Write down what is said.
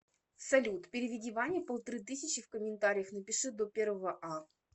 салют переведи ване полторы тысячи в комментариях напиши до первого а